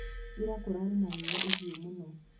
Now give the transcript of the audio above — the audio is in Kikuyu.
Ira kũrarĩ na riua ihiũ mũno.